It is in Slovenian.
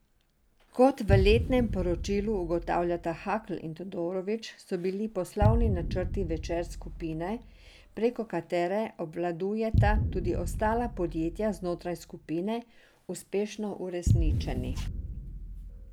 Kot v letnem poročilu ugotavljata Hakl in Todorović, so bili poslovni načrti Večer skupine, preko katere obvladujeta tudi ostala podjetja znotraj skupine, uspešno uresničeni.